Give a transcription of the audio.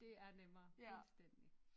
Det er nemmere fuldstændig